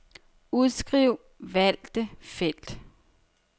Udskriv valgte felt.